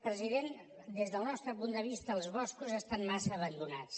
president des del nostre punt de vista els boscos estan massa abandonats